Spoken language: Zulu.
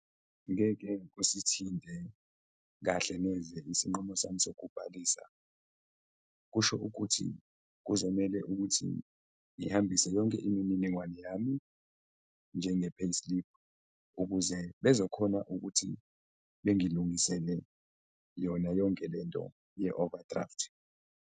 Ngeke usithinte kahle neze isinqumo sami sokubhalisa. Kusho ukuthi kuzomele ukuthi ngihambise yonke iminingwane yami njenge-payslip, ukuze bezokhona ukuthi bengilungisele yona yonke le nto ye-overdraft.